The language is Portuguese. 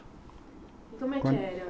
E como é que era?